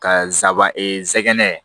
Ka n saban e nsɛgɛnɛ